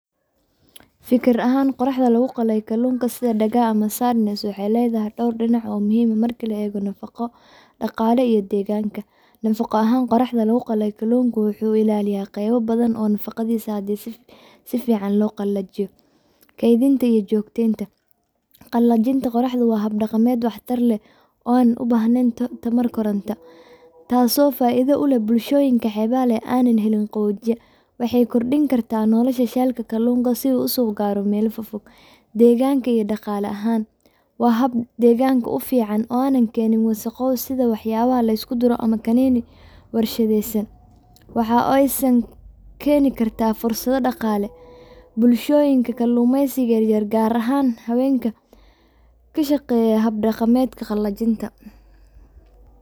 Fikir ahaan qoraxda lagu qalay kaluunka sida dagaa ama cyprinid waxeey ledahay door dinac oo muhiim ah marka la eego nafaqo, daqaala iyo deeganka nafaqo ahaan qoraxda lagu qalay kaluunka wuxuu ilaalya qeebo badan oo nafaqadiisa hadii si fican loo qalajiyo, keedinta iyo joogteenta, qalajinta qoraxda waa hab daqameed wax tar leh oona ubaahneen tamar koranta, taas oo faida uleh bulshooyinka xeeba leh aanan helin qaboojiya, waxeey kordin kartaa nolosha sheelka sabuulka si uu gaaro meela fogfog, deeganka iyo daqaala ahaan waa hab deeganka ufican oonan keenin wasaqo sida wax yaabaha lisku duro ama kaniini warshadeesan, waxaay oo san keeni kartaa fursado daqaale , bulshooyinka kalumeysiga yaryar gaar ahaan habeenka ka shaqeeya qalajinta kaluunka.